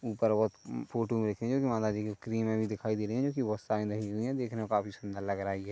ऊपर बहोत फोटो मे देखिए जो माताजी की क्रीमे भी दिखाई दे रही है जो बहुत सारी लगी हुई हे देखने मे काफी सुंदर लग रहा हे ये ।